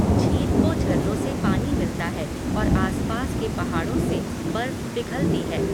झील को झरनों से पानी मिलता है और आसपास के पहाड़ों से बर्फ पिघलती है।